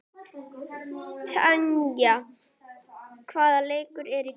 Tanja, hvaða leikir eru í kvöld?